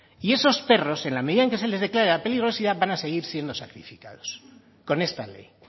y esos perros en la medida en que se les declare la peligrosidad van a seguir siendo sacrificados con esta ley